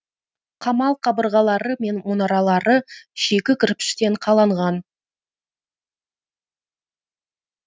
қамал қабырғалары мен мұнаралары шикі кірпіштен қаланған